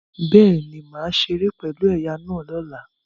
Bẹ́ẹ̀ni, màá ṣeré pẹ̀lú ẹ̀ya náà lọ́la